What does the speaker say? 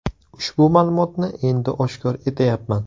Ushbu ma’lumotni endi oshkor etayapman.